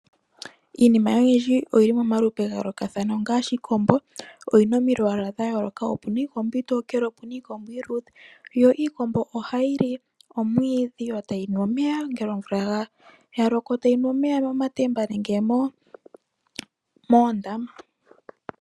Iinima oyindji oyili momalupe gayoolokathana ongaashi iikombo oyina omalwaala ga yooloka ngaashi omuna iikombo iitokele mo omuna iikombo iiludhe iikombo ohayi li omwiidhi yo tayi nu omeya ngele omvula ya loko tayi nu omeya momatemba nenge moondama.